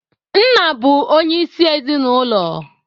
Nna bụ onyeịsi ezinụlo